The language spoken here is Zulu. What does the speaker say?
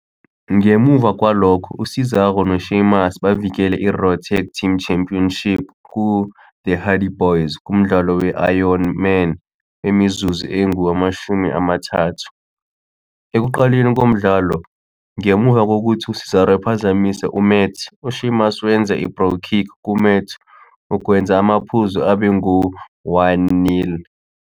Ngemuva kwalokho, u-Cesaro no-Sheamus bavikele i-Raw Tag Team Championship ku-The Hardy Boyz kumdlalo we-Iron Man wemizuzu engu-30. Ekuqaleni komdlalo, ngemuva kokuthi uCesaro ephazamise uMat, uSheamus wenze "i-Brogue Kick" kuMat ukwenza amaphuzu abe ngu-1-0.